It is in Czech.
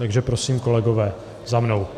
Takže prosím, kolegové, za mnou.